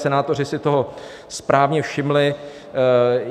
Senátoři si toho správně všimli.